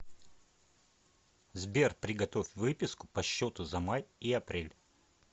сбер приготовь выписку по счету за май и апрель